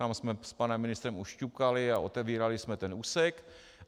Tam jsme s panem ministrem už ťukali a otevírali jsme ten úsek.